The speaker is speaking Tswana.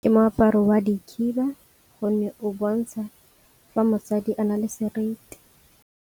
Ke moaparo wa di khiba gonne o bontsha fa mosadi a na le seriti.